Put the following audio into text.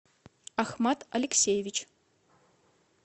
ахмат алексеевич